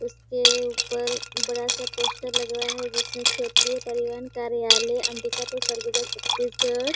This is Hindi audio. उसके ऊपर बड़ा सा पोस्टर लगा हुआ है जिसमें क्षेत्रीय परिवहन कार्यालय अंबिकापुर सरगुजा छत्तीसगढ़--